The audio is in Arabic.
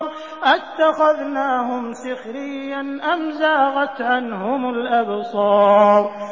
أَتَّخَذْنَاهُمْ سِخْرِيًّا أَمْ زَاغَتْ عَنْهُمُ الْأَبْصَارُ